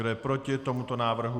Kdo je proti tomuto návrhu?